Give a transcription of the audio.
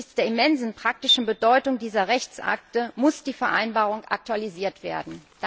Angesichts der immensen praktischen Bedeutung dieser Rechtsakte muss die Vereinbarung aktualisiert werden.